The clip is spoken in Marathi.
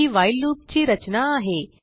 ही व्हाईल लूप ची रचना आहे